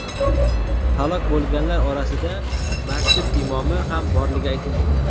Halok bo‘lganlar orasida masjid imomi ham borligi aytilmoqda.